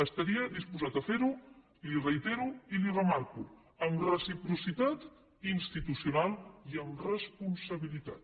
estaria disposat a fer ho li ho reitero i li ho remarco amb reciprocitat institucional i amb responsabilitat